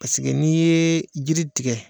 n'i ye jiri tigɛ